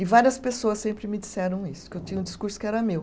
E várias pessoas sempre me disseram isso, que eu tinha um discurso que era meu.